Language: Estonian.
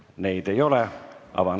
Neid ei ole.